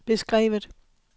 beskrevet